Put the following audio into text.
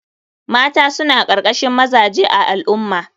Mata suna karkashin mazaje a al ummah.